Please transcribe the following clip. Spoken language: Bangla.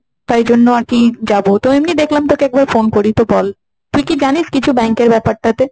তাই জন্য আর কি যাব। তো এমনি দেখলাম তোকে একবার ফোন করি তো বল, তুই কি জানিস কিছু bank এর ব্যাপারটা তে?